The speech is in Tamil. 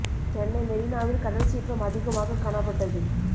சென்னை மெரீனாவில் கடல் சீற்றம் அதிகமாக காணப்பட்டது